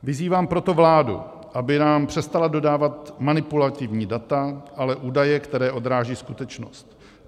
Vyzývám proto vládu, aby nám přestala dodávat manipulativní data, ale údaje, které odrážejí skutečnost.